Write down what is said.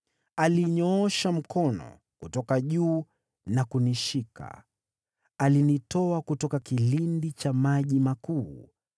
“Alinyoosha mkono kutoka juu na kunishika; alinitoa kutoka kilindi cha maji makuu.